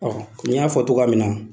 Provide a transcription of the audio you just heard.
Ɔho i y'a fɔ togoya min na